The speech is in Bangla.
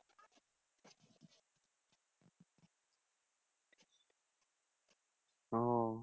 ও